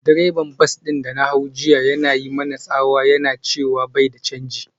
Direban bas din da na hau jiya yana yi mana tsawa yana cewa bai da canji.